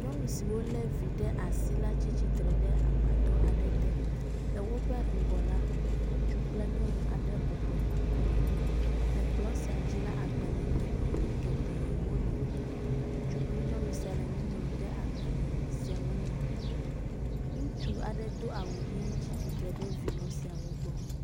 Nyɔnu siwo le vi ɖe asi la tsi tsitre ɖe gbadɔ aɖe te. Le woƒe ŋgɔ la, ŋutsu kple nyɔnu aɖe bɔbɔnɔ kplɔ ŋu. le kplɔ sia dzi la, agbalevi geɖewo li. Ŋutsu kple nyɔnu sia le nu ŋlɔm ɖe agbale siawo me. Ŋutsu aɖe do awu ʋi tsi tsitre ɖe vinɔ siawo gbɔ.